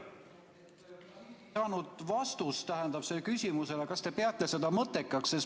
Ma ei saanud vastust küsimusele, kas te peate seda mõttekaks.